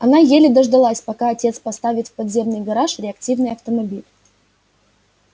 она еле дождалась пока отец поставит в подземный гараж реактивный автомобиль